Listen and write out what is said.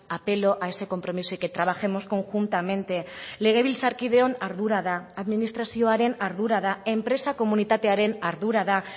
apelo a ese compromiso y que trabajemos conjuntamente legebiltzarkideon ardura da administrazioaren ardura da enpresa komunitatearen ardura da